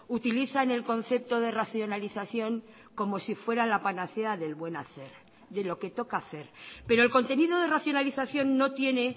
utilizan el concepto de racionalización como si fuera la panacea del buen hacer de lo que toca hacer pero el contenido de racionalización no tiene